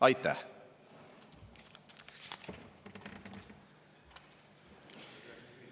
Aitäh!